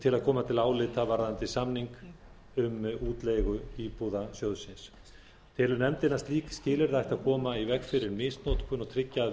til að koma til álita varðandi samning um útleigu íbúða sjóðsins telur nefndin að slík skilyrði ættu að koma í veg fyrir misnotkun og tryggja að